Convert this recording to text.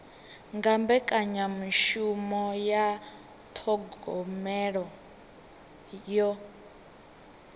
nga mbekanyamishumo dza thogomelo yo